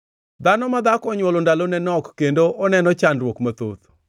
“Dhano ma dhako onywolo ndalone nok kendo oneno chandruok mathoth.